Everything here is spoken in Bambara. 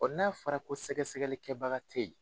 O n'a fɔra ko sɛgɛsɛgɛli kɛbaga tɛ yen.